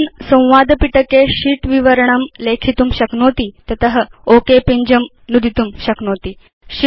भवान् संवादपिटके शीत् विवरणं लेखितुं शक्नोति तत ओक पिञ्जं नुदितुं शक्नोति